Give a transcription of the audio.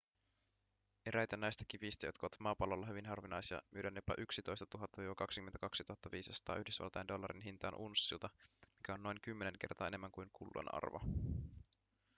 eräitä näistä kivistä jotka ovat maapallolla hyvin harvinaisia myydään jopa 11 000-22 500 yhdysvaltain dollarin hintaan unssilta mikä on noin kymmenen kertaa enemmän kuin kullan arvo